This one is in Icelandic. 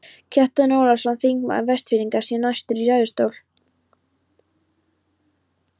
Kjartan Ólafsson, þingmaður Vestfirðinga, sté næstur í ræðustól.